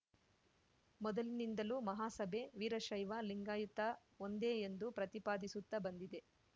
ಮೊದಲಿನಿಂದಲೂ ಮಹಾಸಭೆ ವೀರಶೈವಲಿಂಗಾಯತ ಒಂದೇ ಎಂದು ಪ್ರತಿಪಾದಿಸುತ್ತಾ ಬಂದಿದೆ